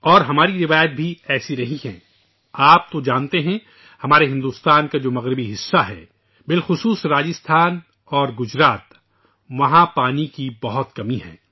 اور ہماری روایات بھی اس طرح رہی ہیں ، آپ تو جانتے ہیں کہ ہمارے ہندوستان کا مغربی حصہ خصوصا گجرات اور راجستھان ، وہاں پانی کی بہت کمی ہے